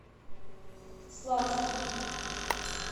славска